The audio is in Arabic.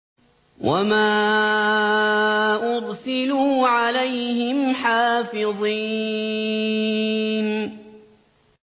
وَمَا أُرْسِلُوا عَلَيْهِمْ حَافِظِينَ